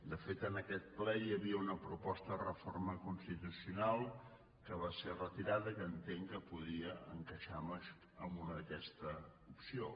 de fet en aquest ple hi havia una proposta de reforma constitucional que va ser retirada i que entenc que podia encaixar en una d’aquestes opcions